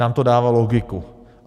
Nám to dává logiku.